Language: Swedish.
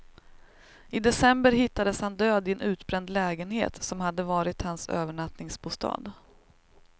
I december hittades han död i en utbränd lägenhet som hade varit hans övernattningsbostad.